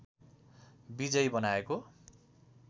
विजयी बनाएको